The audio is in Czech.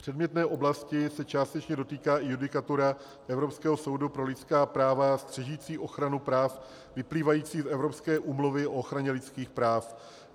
Předmětné oblasti se částečně dotýká i judikatura Evropského soudu pro lidská práva střežící ochranu práv vyplývajících z Evropské úmluvy o ochraně lidských práv.